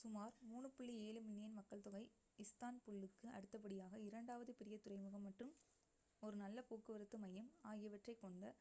சுமார் 3.7 மில்லியன் மக்கள்தொகை இஸ்தான்புல்லுக்கு அடுத்தபடியாக இரண்டாவது பெரிய துறைமுகம் மற்றும் ஒரு நல்ல போக்குவரத்து மையம் ஆகியவற்றைக் கொண்ட